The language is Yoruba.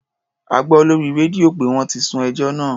A gbọ́ lórí rédíò pé wọ́n ti sún ẹjọ́ náà.